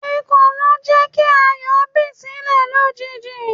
Ekolo jẹ́ kí Ayọ̀ bi silẹ lójijì.